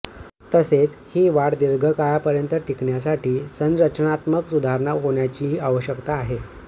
तसेच ही वाढ दीर्घकाळापर्यंत टिकण्यासाठी संरचनात्मक सुधारणा होण्याचीही आवश्यकता आहे